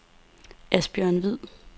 Asbjørn Hvid